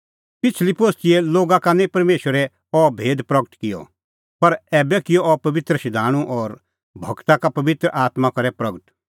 पिछ़ली पोस्तीए लोगा का निं परमेशरै अह भेद प्रगट किअ पर ऐबै किअ अह पबित्र शधाणूं और गूरा का पबित्र आत्मां करै प्रगट